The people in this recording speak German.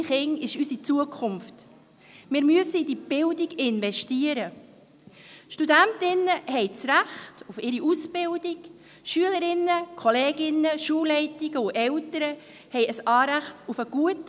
Wir wollen wissen, wie der Unterricht unserer Schulkinder in Zukunft gewährleistet sein wird.